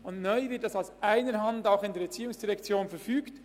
Neu wird dies aus einer Hand in der ERZ verfügt.